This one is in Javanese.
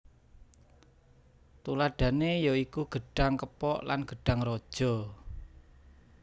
Tuladhané ya iku gedhang kepok lan gedhang raja